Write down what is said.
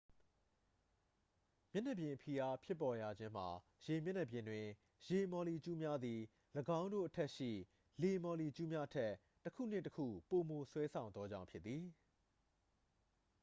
မျက်နှာပြင်ဖိအားဖြစ်ပေါ်ရခြင်းမှာ ရေမျက်နှာပြင်တွင် ရေမာ်လီကျူးများသည် ၎င်းတို့အထက်ရှိ လေမော်လီကျူးများထက် တစ်ခုနှင့် တစ်ခု ပိုမို ဆွဲဆောင်သောကြောင့်ဖြစ်သည်